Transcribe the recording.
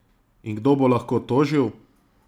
In kdo bo lahko tožil?